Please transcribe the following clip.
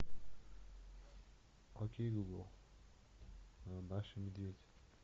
окей гугл маша и медведь